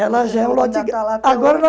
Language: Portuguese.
Ela já é um lote Está lá até hoje